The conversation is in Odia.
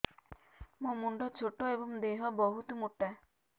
ମୋ ମୁଣ୍ଡ ଛୋଟ ଏଵଂ ଦେହ ବହୁତ ମୋଟା